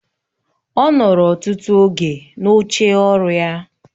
Ọ nọrọ ọtụtụ oge n'oche ọrụ ya.